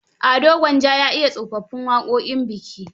Ado Gwanja ya iya tsofaffin waƙoƙin biki.